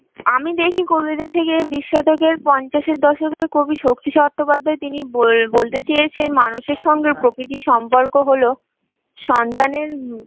আমি দেখি কবিদের থেকে বিশ শতকের পঞ্চাশের দশকে শক্তি চট্টোপাধ্যায় তিনি বল বলতে চেয়েছেন মানুষের সঙ্গে প্রকৃতির সম্পর্ক হলো সন্তানের